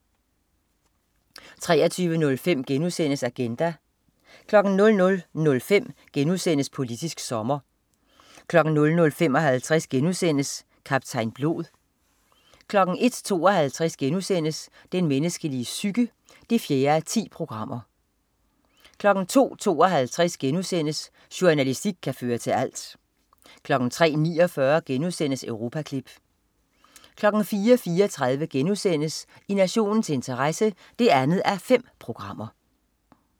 23.05 Agenda* 00.05 Politisk sommer* 00.55 Kaptajn Blod* 01.52 Den menneskelige psyke 4:10* 02.52 Jornalistik kan føre til alt* 03.49 Europaklip* 04.34 I nationens interesse 2:5*